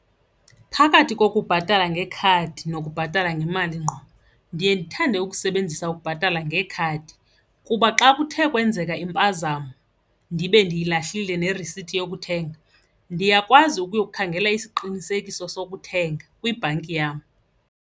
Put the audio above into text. Phakathi kokubhatala ngekhadi nokubhatala ngemali ngqo ndiye ndithande ukusebenzisa ukubhatala ngekhadi kuba xa kuthe kwenzeka impazamo ndibe ndiyilahlile nerisithi yokuthenga, ndiyakwazi ukuyokhangela isiqinisekiso sokuthenga kwibhanki yam.